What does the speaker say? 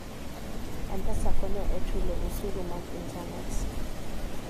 M-Pesa konyo e chulo osuru mag intanet.